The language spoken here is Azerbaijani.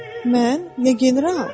Mən, ya general?